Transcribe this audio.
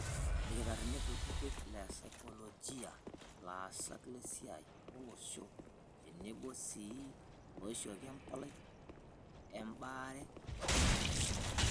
Ilkitarrini kutiti, lesaikolojia, laasak lesiai olosho tenebo sii loishooki empalai ebaare enaisho.